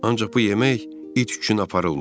Ancaq bu yemək it üçün aparılmayıb.